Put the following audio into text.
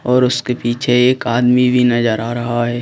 और उसके पीछे एक आदमी भी नजर आ रहा है।